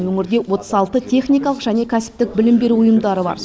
өңірде отыз алты техникалық және кәсіптік білім беру ұйымдары бар